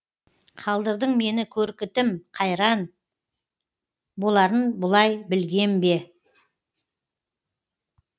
қалдырдың мені көрікітім қайран боларын бұлай білгем бе